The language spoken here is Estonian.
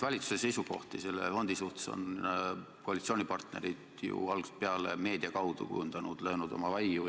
Valitsuse seisukohti selle fondi suhtes on koalitsioonipartnerid ju algusest peale meedia kaudu kujundanud, löönud oma vaiu.